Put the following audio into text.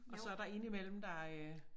Og så der indimellem der øh